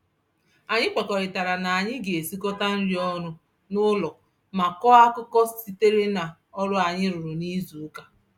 Anyị kwekọrịtara na anyị ga-esikọta nri ọnụ n'ụlọ ma kọọ akụkọ sitere n'ọrụ anyị rụrụ n'izuụka.